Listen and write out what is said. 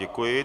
Děkuji.